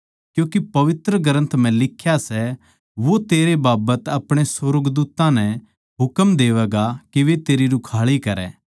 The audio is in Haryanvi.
क्यूँके पवित्र ग्रन्थ म्ह लिख्या सै वो तेरै बाबत अपणे सुर्गदूत्तां नै हुकम देवैगा के वे तेरी रुखाळी करै